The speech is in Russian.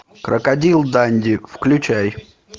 крокодил данди включай